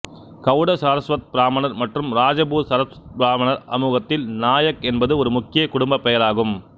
கவுட சாரஸ்வத் பிராமணர் மற்றும் ராஜபூர் சரஸ்வத் பிராமணர்கள் சமூகத்தில் நாயக் என்பது ஒரு முக்கிய குடும்பப்பெயர் ஆகும்